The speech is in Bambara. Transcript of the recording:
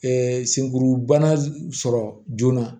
senkurubana sɔrɔ joona